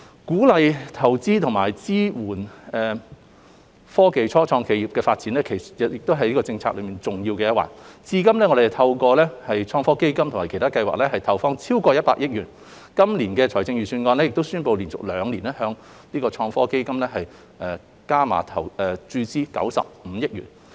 鼓勵投資及支援科技初創企業發展亦是政策內的重要一環，至今我們透過"創新及科技基金"及其他計劃已投放超過100億元，今年的財政預算案亦已宣布會連續兩年向創科基金加碼合共注資95億元。